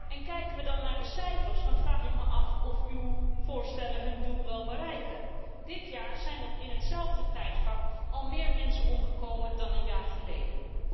En kijken we dan naar de cijfers, dan vraag ik me af of uw voorstellen hun doel wel bereiken. Dit jaar zijn er in hetzelfde tijdvak al meer mensen omgekomen dan een jaar geleden.